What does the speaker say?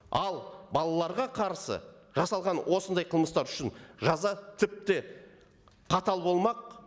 ал балаларға қарсы жасалған осындай қылмыстар үшін жаза тіпте қатал болмақ